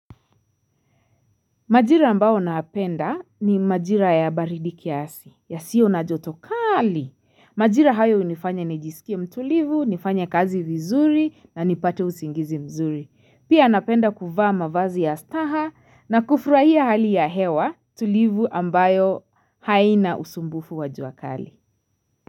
Majira ambao napenda ni majira ya baridi kiasi yasiyo na joto kali. Majira hayo hunifanya nijisikie mtulivu, nifanye kazi vizuri na nipate usingizi mzuri. Pia napenda kuvaa mavazi ya staha na kufurahia hali ya hewa tulivu ambayo haina usumbufu wa jua kali.